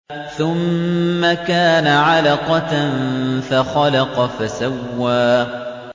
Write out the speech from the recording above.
ثُمَّ كَانَ عَلَقَةً فَخَلَقَ فَسَوَّىٰ